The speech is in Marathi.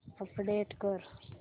अपडेट कर